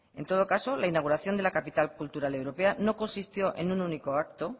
en todo caso la inauguración de la capital cultural europea no consistió en un único acto